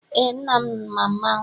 Eé, nna m ma mmanwụ.